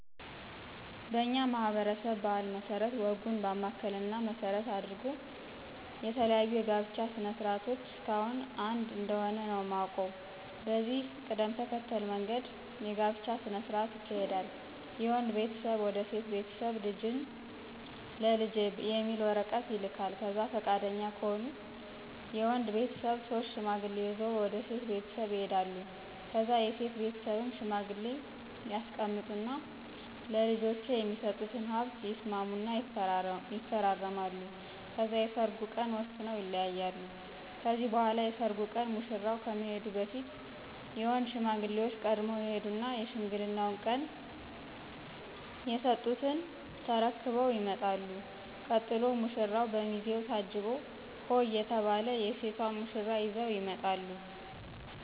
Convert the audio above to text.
በኛ ማህበረሰብ ባህል መስረት ወጉን ባማከለ እና መሰረት አድርጎ የተለያዩ የጋብቻ ስነ ስርዓት እስካሁን አንድ እንደሆነ ነው የማውቀው። በዚህ ቅደም ተከተል መንገድ የጋብቻ ስነ ስርዓት ይካሄዳል የወንድ ቤተሰብ ወደ ሴት ቤተስብ ልጅህን ለልጄ የሚል ወረቀት ይልካል ከዛ ፍቃደኛ ከሆኑ የወድ ቤተሰብ ሶስት ሽማግሌ ይዞ ወደ ሴት ቤተሰብ ይሄዳሉ ከዛ የሴት ቤትስብም ሽማግሌ ያስቀምጡ እና ለልጄች የሚስጡትን ሀብት ይስማሙ እና ይፈራረማሉ ከዛ የሰርጉን ቀን ወስነው ይለያያሉ ከዚህ በኋላ የሰርጉ ቀን ሙሽራው ከመሄዱ በፊት የወንድ ሽማግሌዎች ቀድመው ይሄዱና የሽምግልናው ቀን የስጡትን ተርክበው ይመጣሉ ቀጥሎ ሙራው፣ በሚዜው ታጅቦ ሆሆ እየተባል የሴቷን ሙሽራ ይዘው ይመጣሉ።